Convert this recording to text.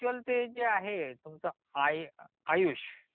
मला एक्च्युअल ते जे आहे तुमच आयुष